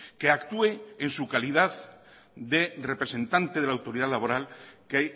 que actúe en su calidad de representante de la autoridad laboral que